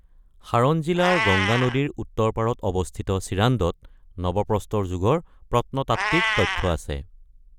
সাৰণ জিলাৰ গংগা নদীৰ উত্তৰ পাৰত অৱস্থিত চিৰান্দত নৱপ্ৰস্তৰ যুগৰ প্ৰত্নতাত্ত্বিক তথ্য আছে।